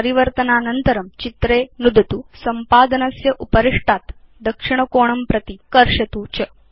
परिवर्तनानन्तरं चित्रे नुदतु संपादनस्य उपरिष्टात् दक्षिणकोणं प्रति कर्षतु च